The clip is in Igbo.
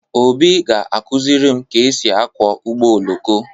Obi ga-akụziri m ka e si akwọ ụgbọ oloko.